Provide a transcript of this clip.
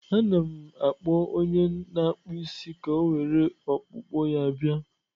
Anọ m na-akpọ onye na-akpụ isi ka o were mkpụkpọ ya bịa.